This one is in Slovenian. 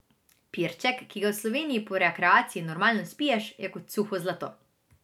Pirček, ki ga v Sloveniji po rekreaciji normalno spiješ, je kot suho zlato.